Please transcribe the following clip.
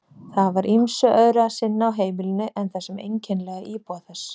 Það var ýmsu öðru að sinna á heimilinu en þessum einkennilega íbúa þess.